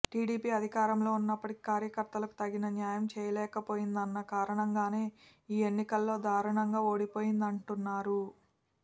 TDP అధికారంలో ఉన్నప్పటికీ కార్యకర్తలకు తగిన న్యాయం చేయలేకపోయిందన్న కారణంగానే ఈ ఎన్నికల్లో దారుణంగా ఓడిపోయిందంటున్నారు